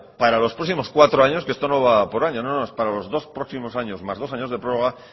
para los próximos cuatro años que esto no va por año no no es para los dos próximos años más dos años de prórroga